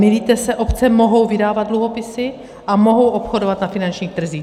Mýlíte se, obce mohou vydávat dluhopisy a mohou obchodovat na finančních trzích.